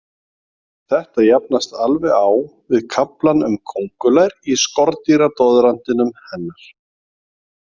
Þetta jafnaðist alveg á við kaflann um kóngulær í skordýradoðrantinum hennar.